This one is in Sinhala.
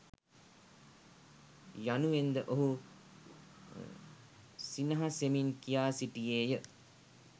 යනුවෙන්ද ඔහු සිනහසෙමින් කියා සිටියේය.